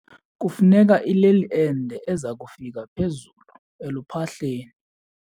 Kufuneka ileli ende eza kufika phezulu eluphahleni.